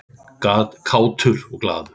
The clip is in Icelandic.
Kátur og glaður.